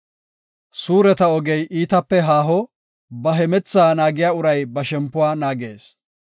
Suureta ogey iitape haako; ba hemethaa naagiya uray ba shempuwa naagees.